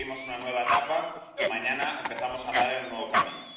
Abrimos una nueva etapa y mañana empezamos a andar en un nuevo camino.